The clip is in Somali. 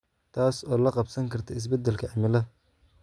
taas oo la qabsan karta isbedelka cimilada.